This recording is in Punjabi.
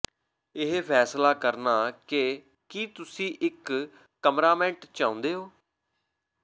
ਇਹ ਫੈਸਲਾ ਕਰਨਾ ਕਿ ਕੀ ਤੁਸੀਂ ਇੱਕ ਕਮਰਾਮੇਟ ਚਾਹੁੰਦੇ ਹੋ